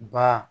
Ba